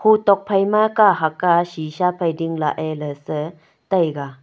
ho tokphai ma kahak a sisha phai ding la a lah se taiga.